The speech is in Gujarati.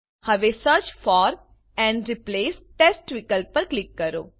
હવે search for and replace text વિકલ્પ પર ક્લિક કરો